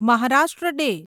Maharashtra day